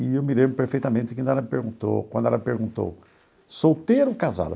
E eu me lembro perfeitamente que ela me perguntou quando ela perguntou, solteiro ou casado?